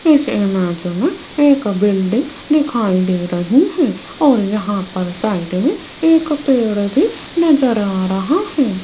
इस इमेज में एक बिल्डिंग दिखाई दे रही है और यहां पर साइड में एक पेड़ भी नजर आ रहा है।